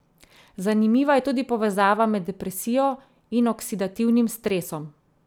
Zanimiva je tudi povezava med depresijo in oksidativnim stresom.